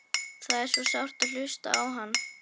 Það er svo sárt að hlusta á hann.